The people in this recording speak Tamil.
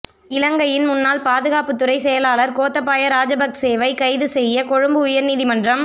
இலங்கையின் முன்னாள் பாதுகாப்புத்துறை செயலாளர் கோத்தப்பய ராஜபக்சேவை கைது செய்ய கொழும்பு உயர்நீதிமன்றம்